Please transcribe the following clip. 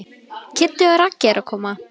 Kiddi og Raggi eru að koma.